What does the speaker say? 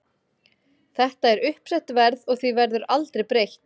Þetta er uppsett verð og því verður aldrei breytt.